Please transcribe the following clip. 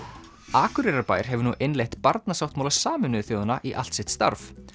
Akureyrarbær hefur nú innleitt Barnasáttmála Sameinuðu þjóðanna í allt sitt starf